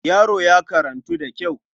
Yaro ya karantu da kyau.